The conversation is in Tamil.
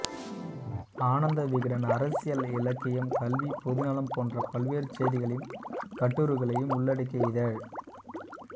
ஆனந்த விகடன் அரசியல் இலக்கியம் கல்வி பொதுநலம் போன்ற பல்வேறு செய்திகளையும் கட்டுரைகளையும் உள்ளடக்கிய இதழ்